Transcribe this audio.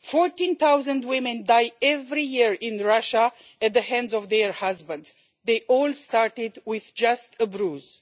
Fourteen thousand women die every year in Russia at the hands of their husbands. They all started with just a bruise.